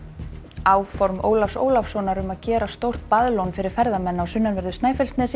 áform Ólafs Ólafssonar um að gera stórt fyrir ferðamenn á sunnanverðu Snæfellsnesi